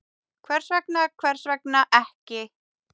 Hvers vegna, hvers vegna ekki?